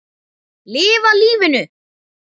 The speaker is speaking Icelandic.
Lifa lífinu!